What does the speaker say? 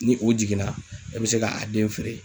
Ni u jiginna, e be se ka a den feere.